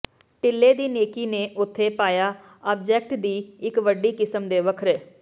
ਟਿੱਲੇ ਦੀ ਨੇਕੀ ਨੂੰ ਉੱਥੇ ਪਾਇਆ ਆਬਜੈਕਟ ਦੀ ਇੱਕ ਵੱਡੀ ਕਿਸਮ ਦੇ ਵੱਖਰੇ